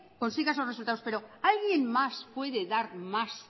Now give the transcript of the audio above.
consiga esos resultados pero alguien más puede dar más